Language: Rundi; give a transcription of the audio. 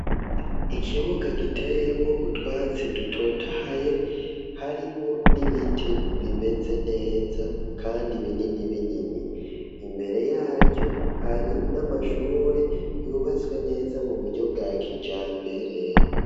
Ikibuga giteyemwo utwatsi dutotahaye harimwo n'ibiti bimeze neza kandi binini binini imbere yaryo hari n'amashure yubatswe neza mu buryo bwa kijambere.